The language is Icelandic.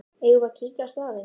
Eigum við að kíkja á staðinn?